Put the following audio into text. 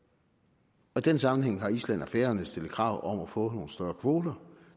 og i den sammenhæng har island og færøerne stillet krav om at få nogle større kvoter